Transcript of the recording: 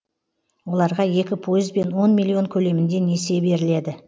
оларға екі пайызбен он миллион көлемінде несие беріледі